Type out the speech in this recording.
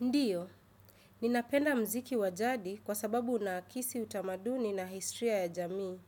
Ndiyo, ninapenda mziki wa jadi kwa sababu unaakisi utamaduni na histria ya jamii.